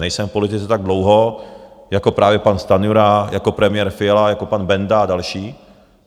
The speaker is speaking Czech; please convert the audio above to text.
Nejsem v politice tak dlouho jako právě pan Stanjura, jako premiér Fiala, jako pan Benda a další.